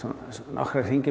nokkra hringi